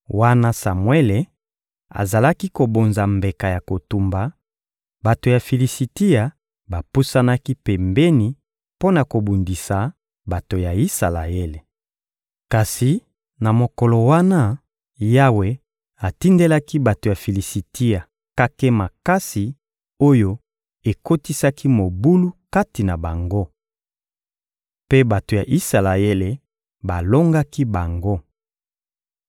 Wana Samuele azalaki kobonza mbeka ya kotumba, bato ya Filisitia bapusanaki pembeni mpo na kobundisa bato ya Isalaele. Kasi na mokolo wana, Yawe atindelaki bato ya Filisitia kake makasi oyo ekotisaki mobulu kati na bango. Mpe bato ya Isalaele balongaki bango.